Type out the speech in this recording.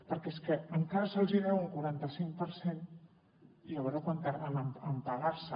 perquè és que encara se’ls hi deu un quarantacinc per cent i a veure quant tarden en pagarlo